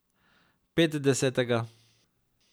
Petdesetega ...